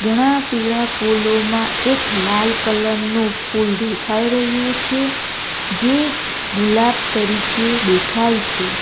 ઘણા પીળા ફૂલોમાં એક લાલ કલર નું ફૂલ દેખાઈ રહ્યું છે. જે ગુલાબ તરીકે દેખાય છે.